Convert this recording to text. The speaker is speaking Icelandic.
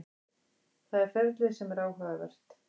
Það er ferlið sem er áhugavert.